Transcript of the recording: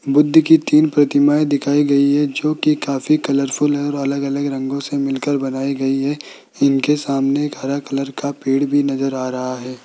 बुद्ध की तीन प्रतिमाएं दिखाई गई है जो कि काफी कलरफुल और अलग-अलग रंगों से मिलकर बनाई गई है इनके सामने एक हरा कलर का पेड़ भी नजर आ रहा है।